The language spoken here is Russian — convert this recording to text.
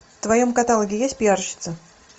в твоем каталоге есть пиарщица